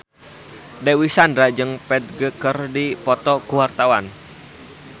Dewi Sandra jeung Ferdge keur dipoto ku wartawan